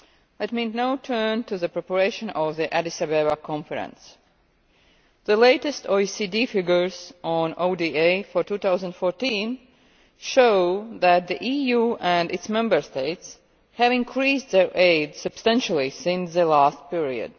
Let me now turn to the preparation of the Addis Ababa conference. The latest OECD figures on ODA for 2014 show that the EU and its Member States have increased their aid substantially since the last period.